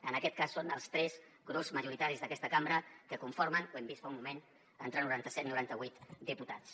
en aquest cas són els tres grups majoritaris d’aquesta cambra que conformen ho hem vist fa un moment entre noranta set noranta vuit diputats